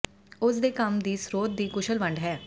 ਉਸ ਦੇ ਕੰਮ ਦੀ ਸਰੋਤ ਦੀ ਕੁਸ਼ਲ ਵੰਡ ਹੈ